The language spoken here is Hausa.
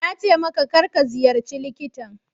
Na ce maka, kar ka ziyarci likitan.